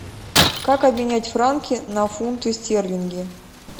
как обменять франки на фунты стерлинги